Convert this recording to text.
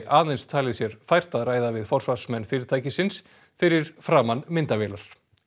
aðeins talið sér fært að ræða við forsvarsmenn fyrirtækisins fyrir framan myndavélar